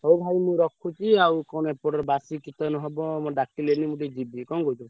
ହଉ ଭାଇ ମୁଁ ରଖୁଛି ଆଉ କଣ ଏପଟରେ ବାସି chicken ହବ ମୋତେ ଡାକିଲେଣି ମୁଁ ଟିକେ ଯିବି କଣ କହୁଛ?